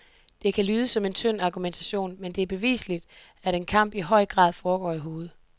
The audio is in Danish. Det kan lyde som en tynd argumentation, men det er bevisligt, at en kamp i høj grad foregår i hovedet.